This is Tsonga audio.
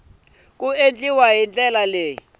ku endliwa hi ndlela yo